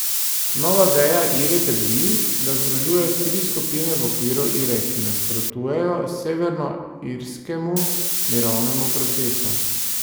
Nova veja Ire trdi, da združuje tri skupine v okviru Ire, ki nasprotujejo severnoirskemu mirovnemu procesu.